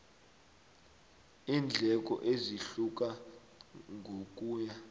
iindleko zihluka ngokuya